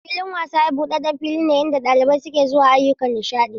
Filin wasa buɗaɗɗen fili ne inda ɗalibai ke zuwa ayyukan nishaɗi.